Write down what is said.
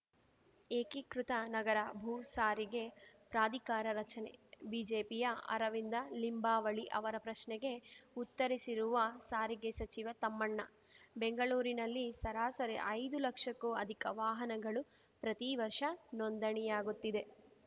ಏಕೀಕೃತ ನಗರ ಭೂಸಾರಿಗೆ ಪ್ರಾಧಿಕಾರ ರಚನೆ ಬಿಜೆಪಿಯ ಅರವಿಂದ ಲಿಂಬಾವಳಿ ಅವರ ಪ್ರಶ್ನೆಗೆ ಉತ್ತರಿಸಿರುವ ಸಾರಿಗೆ ಸಚಿವ ತಮ್ಮಣ್ಣ ಬೆಂಗಳೂರಿನಲ್ಲಿ ಸರಾಸರಿ ಐದು ಲಕ್ಷಕ್ಕೂ ಅಧಿಕ ವಾಹನಗಳು ಪ್ರತಿ ವರ್ಷ ನೋಂದಣಿಯಾಗುತ್ತಿದೆ